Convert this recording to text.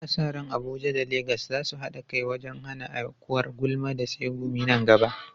Ana sa ran Abuja da Legas za su haɗa kai wajen hana aukuwar gulma da tsegumi nan gaba.